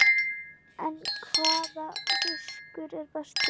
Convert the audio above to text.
En hvaða fiskur er bestur?